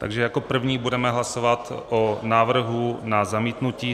Takže jako první budeme hlasovat o návrhu na zamítnutí.